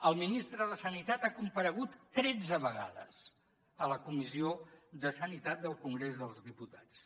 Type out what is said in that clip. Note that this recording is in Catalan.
el ministre de sanitat ha comparegut tretze vegades a la comissió de sanitat del congrés dels diputats